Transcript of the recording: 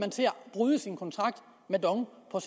bryde sin kontrakt med dong på